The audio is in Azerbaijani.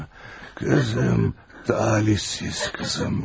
Qızım, qızım, talihsiz qızım mənim.